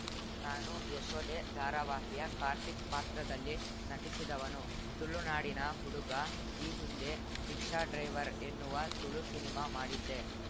ನಾನು ಯಶೋಧೆ ಧಾರಾವಾಹಿಯ ಕಾರ್ತಿಕ್‌ ಪಾತ್ರದಲ್ಲಿ ನಟಿಸಿದವನು ತುಳುನಾಡಿನ ಹುಡುಗ ಈ ಹಿಂದೆ ರಿಕ್ಷಾ ಡ್ರೈವರ್‌ ಎನ್ನುವ ತುಳು ಸಿನಿಮಾ ಮಾಡಿದ್ದೆ